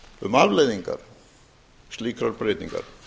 um afleiðingar slíkrar breytingar